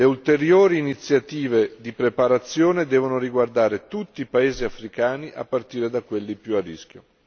Le ulteriori iniziative di preparazione devono riguardare tutti i paesi africani a partire da quelli più a rischio.